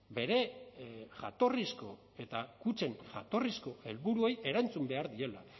bere jatorrizko eta kutxen jatorrizko helburuei erantzun behar diela